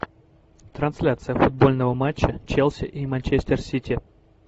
трансляция футбольного матча челси и манчестер сити